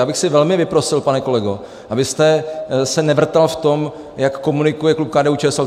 Já bych si velmi vyprosil, pane kolego, abyste se nevrtal v tom, jak komunikuje klub KDU-ČSL.